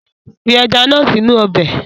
Fi ẹja náà sì inú ọbẹ̀!